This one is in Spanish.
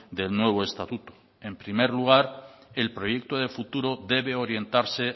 del nuevo estatuto en primer lugar el proyecto de futuro debe orientarse